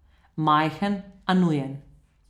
Majhen, a nujen.